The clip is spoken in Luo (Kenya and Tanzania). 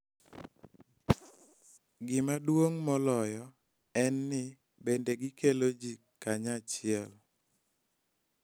Gima duong� moloyo en ni, bende gikelo ji kanyachiel .